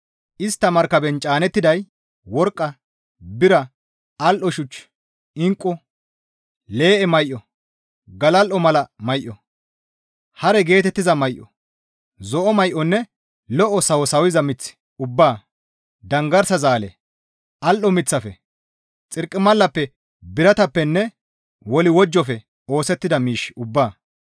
Istta markaben caanettiday worqqa, bira, al7o shuch, inqqu, lee7e may7o, galal7o mala may7o, haare geetettiza may7o, zo7o may7onne lo7o sawo sawiza mith ubbaa, danggarsa zaale, al7o miththafe, xarqimalappe biratappenne woliwojjofe oosettida miish ubbaa,